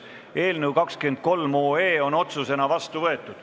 Eelnõu 23 on otsusena vastu võetud.